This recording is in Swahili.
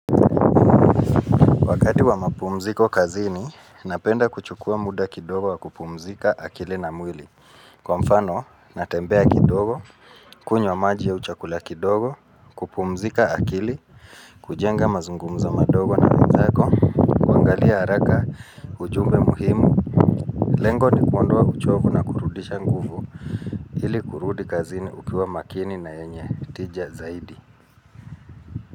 Wakati wa mapumziko kazini, napenda kuchukua muda kidogo wa kupumzika akili na mwili. Kwa mfano, natembea kidogo, kunywa maji au chakula kidogo, kupumzika akili, kujenga mazungumzo madogo na wenzako, kuangalia haraka ujumbe muhimu. Lengo ni kuondoa uchovu na kurudisha nguvu, ili kurudi kazini ukiwa makini na yenye, tija zaidi.